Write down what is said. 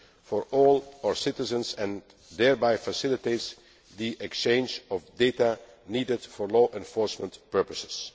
protection for all our citizens and thereby facilitates the exchange of data needed for law enforcement